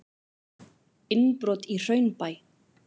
Innbrot í Hraunbæ